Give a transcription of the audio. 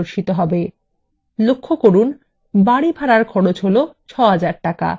লক্ষ্য করুন বাড়ি ভাড়ার খরচ ৬০০০ টাকা